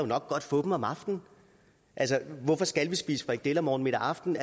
nok godt få dem om aftenen hvorfor skal vi spise frikadeller morgen middag og aften